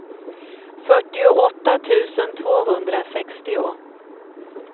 fyrtioåtta tusen tvåhundrasextio